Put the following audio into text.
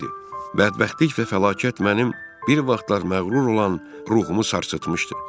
Bədbəxtlik və fəlakət mənim bir vaxtlar məğrur olan ruhumu sarsıtmışdı.